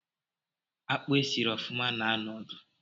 Akpụ esiri ofuma na-anọ odu